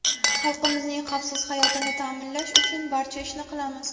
Xalqimizning xavfsiz hayotini ta’minlash uchun barcha ishni qilamiz.